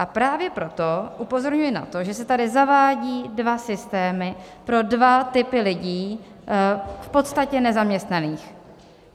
A právě proto upozorňuji na to, že se tady zavádí dva systémy pro dva typy lidí, v podstatě nezaměstnaných.